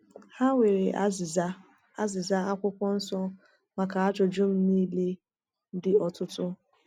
Ha nwere azịza azịza Akwụkwọ Nsọ maka ajụjụ m niile dị ọtụtụ.